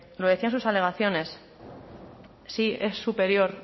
lo decían sus alegaciones sí es superior